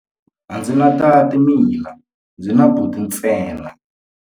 A ndzi na tati mina, ndzi na buti ntsena.